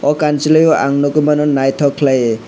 o kansoloi ang noi mano naitok kelaioe.